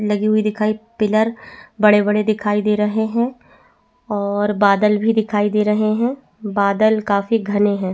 लगी हुई दिखाई पिलर बड़े-बड़े दिखाई दे रहे है और बादल भी दिखाई दे रहे है और बादल काफी घने है।